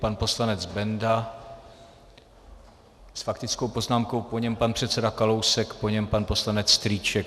Pan poslanec Benda s faktickou poznámkou, po něm pan předseda Kalousek, po něm pan poslanec Strýček.